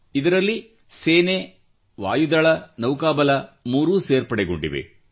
ಇದರಲ್ಲಿ ಸೇನೆ ವಾಯುದಳ ನೌಕಾಬಲ ಮೂರು ಸೇರ್ಪಡೆಗೊಂಡಿವೆ